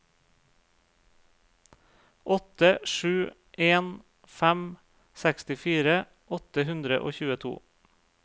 åtte sju en fem sekstifire åtte hundre og tjueto